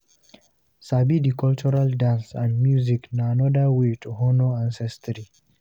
sabi the cultural dance and music na another way to honor ancestry